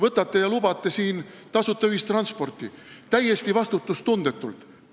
Võtate ja lubate tasuta ühistransporti – täiesti vastutustundetult!